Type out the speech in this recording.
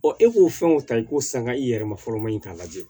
Ɔ e k'o fɛn o ta i ko sanga i yɛrɛ ma fɔlɔ maa in k'a lajɛ